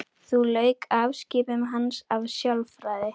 Þá lauk afskiptum hans af sálfræði.